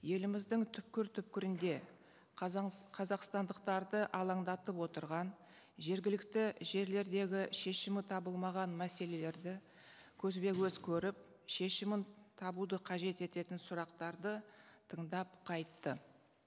еліміздің түпкір түпкірінде қазақстандықтарды алаңдатып отырған жергілікті жерлердегі шешімі табылмаған мәселелерді көзбе көз көріп шешімін табуды қажет ететін сұрақтарды тыңдап қайтты